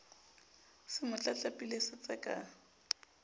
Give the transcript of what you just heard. se mo tlatlapile se tseka